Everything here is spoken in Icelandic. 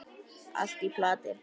Allt í plati!